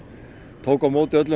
tók á móti öllum